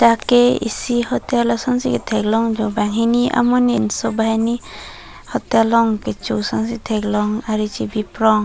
dak ke isi hotel ason si thek long jo banghini amonit pinso so banghini hotel long kecho ason si thek long ari chebi prong.